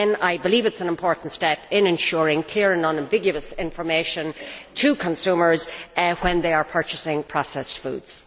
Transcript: I believe it is an important step in ensuring clear and unambiguous information to consumers when they are purchasing processed foods.